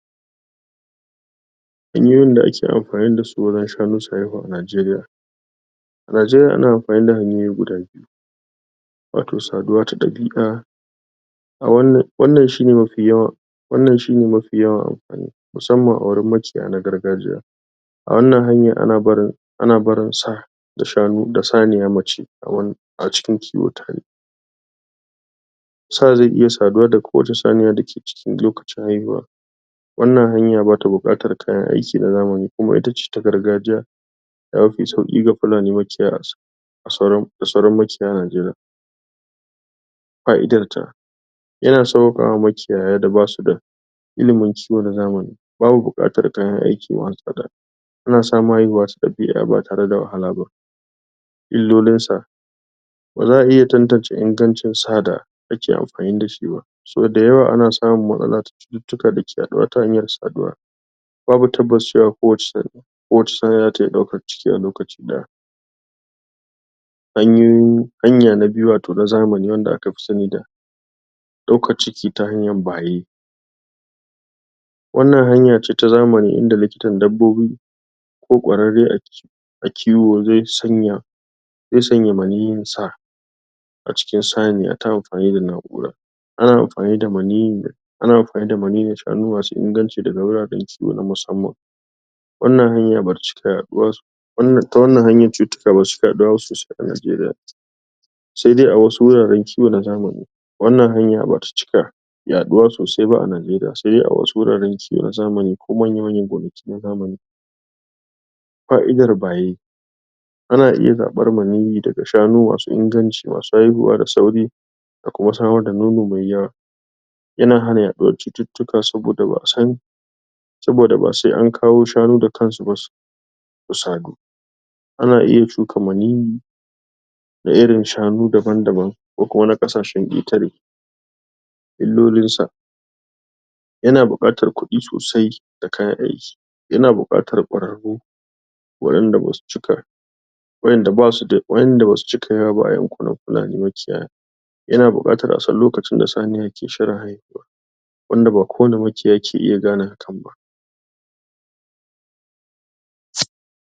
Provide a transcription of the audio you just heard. hanyoyin da ake amfani dasu don shanu su haihu a nigeriya a nageriya ana amfani da hanyoyi guda biyu wato saduwa ta dabi'a wannan shine mafi yawan wannan shine mafi yawan amfani musamman a wurin makiyaya na gargajiya a wannan hanyar ana barin ana barin sa da shanu da saniya mace a cikin kiwo tare sa zai iya saduwa da kowace saniya dake cikin lokacin haihuwa wannan hanya bata bukatar kayan aiki na zamani kuma itace ta gargajiya yafi sauki ga fulani makiyaya da sauran makiyaya nageriya fa'idar ta yana saukaka wa makiyaya da basu da ilimin kiwo na zamani babu bukatar kayan aiki masu tsada ana samun haihuwa cikakkiya ba tare da wahala ba illolin sa baza'a iya tantace ingancin sada ake amfani dashi ba sau da yawa ana samun matsalata cututtuka dake yaduwa ta hanyar saduwa babu cewa kowace saniya zata iya daukar ciki a lokaci daya hanya na biyu wato hanya ta zamani wanda akafi sani da daukar ciki ta hanyar baye wannan hanyace ta zamani inda likitan dabbobi ko kwararre a kiwo zai sanya zai sanya maniyyin sa a cikin saniya ta amfani da na'ura ana amfani da maniyyin ana amfani damaniyyin shanu masu inganci daga wurare na musamman wannan hanya bata cika yaduwa ta wannan hanyar cututtuka basu cika yaduwa ba sosai a nageriya sai dai a wasu wuraren kiwo na zamani wannan hanya ba ta cika yaduwa sosai ba a nigeriya sai dai a wasu wuraren kiwo na zamani ko manya manyan gonaki na zamani fa'idar baye ana iya zabar maniyi daga shanu masu inganci masu haihuwa da sauri akwai wata ma da nono mai yawa yana hana yaduwar cututtuka saboda ba'a san saboda ba sai an kawo shanu da kansu ba su sadu ana iya chuka maniyyi na irrin shanu daban daban illolin sa yana bukatar kudi sosai da kayan aiki yana bukatar kwararru wadanda basu cika wadanda basu cika yawa ba a yankunan fulani makiyaya yana bukatar a san lokacin da saniya ke shirin haihuwa wanda ba kowane makiyayi ke iya gane hakan ba